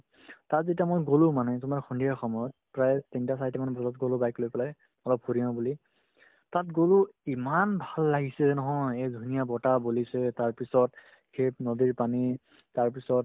তাত যেতিয়া মই গ'লো মানে তোমাৰ সন্ধিয়া সময়ত প্ৰায় তিনটা চাৰিটা মান বজাত গ'লো bike লৈ পেলাই অলপ ঘূৰি আহো বুলি তাত গ'লো ইমান ভাল লাগিছে নহয় এই ধুনীয়া বতাহ বলিছে তাৰপিছত সেই নদীৰ পানী তাৰপিছত